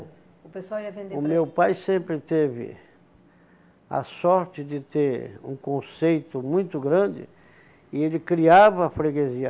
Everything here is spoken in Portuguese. O pessoal ia vender... O meu pai sempre teve a sorte de ter um conceito muito grande e ele criava a freguesia.